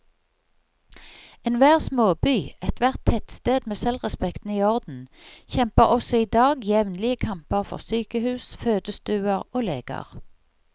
Enhver småby, ethvert tettsted med selvrespekten i orden, kjemper også i dag jevnlige kamper for sykehus, fødestuer og leger.